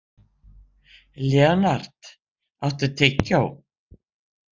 Leonhard, áttu tyggjó?